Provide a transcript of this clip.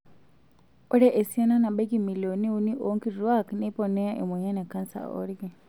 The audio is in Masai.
Ore esiana nabaiki milionini uni oonkituak neiponea emoyian e kansa oolki.